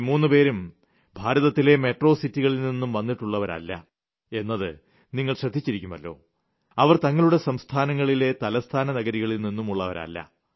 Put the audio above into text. ഈ മൂന്ന് പേരും ഭാരതത്തിലെ മെട്രോ സിറ്റികളിൽ നിന്നും വന്നിട്ടുളളവരല്ല എന്നത് നിങ്ങൾ ശ്രദ്ധിച്ചിരുക്കുമല്ലോ അവർ തങ്ങളുടെ സംസ്ഥാനങ്ങളിലെ തലസ്ഥാന നഗരങ്ങളിൽ നിന്നുളളവരും അല്ല